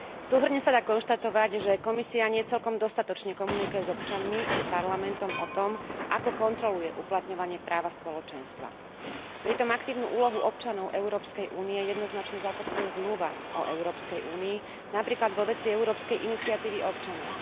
Súhrne sa dá konštatovať, že Komisia nie celkom dostatočne komunikuje s občanmi i s Parlamentom o tom, ako kontroluje uplatňovanie práva Spoločenstva. Pritom aktívnu úlohu občanov európskej únie jednoznačne zakotvuje Zmluva o Európskej únii, napríklad vo veci Európskej iniciatívy občanov.